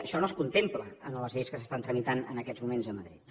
això no es contempla en les lleis que s’estan tramitant en aquests moments a madrid